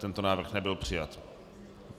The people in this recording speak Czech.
Tento návrh nebyl přijat.